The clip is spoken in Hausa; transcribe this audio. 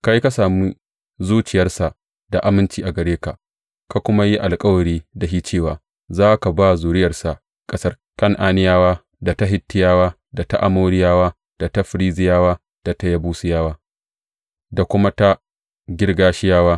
Kai ka sami zuciyarsa da aminci a gare ka, ka kuma yi alkawari da shi cewa za ka ba zuriyarsa ƙasar Kan’aniyawa, da ta Hittiyawa, da ta Amoriyawa, da ta Ferizziyawa, da ta Yebusiyawa, da kuma ta Girgashiyawa.